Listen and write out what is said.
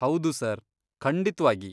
ಹೌದು ಸರ್, ಖಂಡಿತ್ವಾಗಿ.